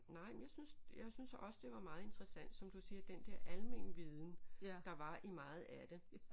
Nej men jeg synes jeg synes også det var meget interessant som du siger den dér almen viden der var i meget af det